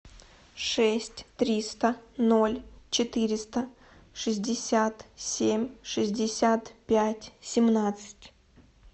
шесть триста ноль четыреста шестьдесят семь шестьдесят пять семнадцать